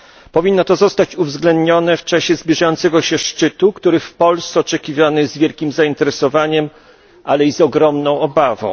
Powinno to zostać uwzględnione w czasie zbliżającego się szczytu, który w Polsce oczekiwany jest z wielkim zainteresowaniem, ale i z ogromną obawą.